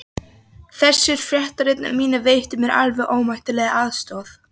Þessir fréttaritarar mínir veittu mér alveg ómetanlega aðstoð.